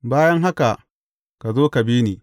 Bayan haka, ka zo ka bi ni.